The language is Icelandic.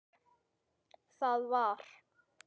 Það var.